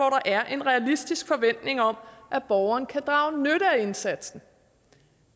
er en realistisk forventning om at borgeren kan drage nytte af indsatsen